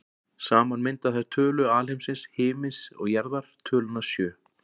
Saman mynda þær tölu alheimsins, himins og jarðar, töluna sjö.